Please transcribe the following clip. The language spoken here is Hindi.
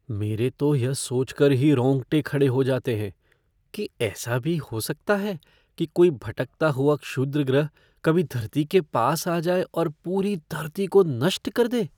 मेरे तो यह सोचकर ही रोंगटे खड़े हो जाते हैं कि ऐसा भी हो सकता है कि कोई भटकता हुआ क्षुद्रग्रह कभी धरती के पास आ जाए और पूरी धरती को नष्ट कर दे।